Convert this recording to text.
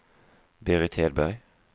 Berit Hedberg